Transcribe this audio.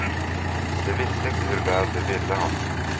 De visste inte hur väl de ville honom.